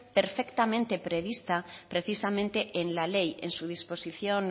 perfectamente prevista precisamente en la ley en su disposición